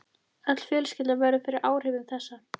Öll fjölskyldan verður fyrir áhrifum þessa.